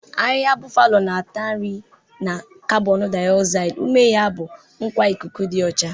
Ahịhịa bufalo na-ata nri na karbonu daozaidi, ume ya bụ nkwa ikuku dị ọcha.